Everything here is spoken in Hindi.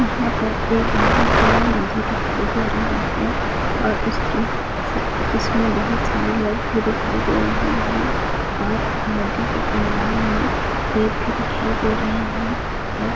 यहाँ पर एक बहुत बड़ा नदी दिखाई दे रहा है और उसके उसमें बहुत सारे लोग भी दिखाई दे रहे है और नदी के किनारे में रेत भी दिखाई दे रहे है और--